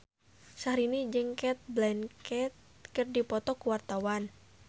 Syahrini jeung Cate Blanchett keur dipoto ku wartawan